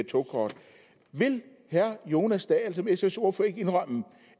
togkort vil herre jonas dahl ikke som sfs ordfører indrømme